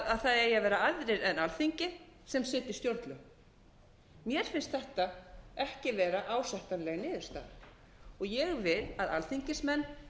að það eigi að vera aðrir en alþingi sem setji stjórnlög mér finnst þetta ekki vera ásættanleg niðurstaða ég vil að